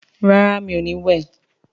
rà rá mi'o ní wẹ.